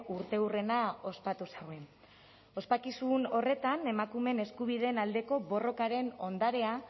urteurrena ospatu zuen ospakizun horretan emakumeen eskubideen aldeko borrokaren ondarea